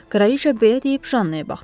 Kraliça belə deyib Jannaya baxdı.